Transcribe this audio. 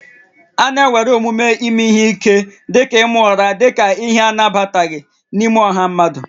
A na-ewere omume ime ihe ike dị ka ịma ụra dị ka ihe anabataghị n'ime ọha mmadụ